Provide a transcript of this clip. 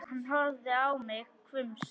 Hann horfði á mig hvumsa.